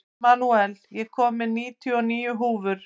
Emanúel, ég kom með níutíu og níu húfur!